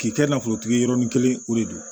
K'i kɛ i n'a fɔ tigiki yɔrɔnin kelen o de don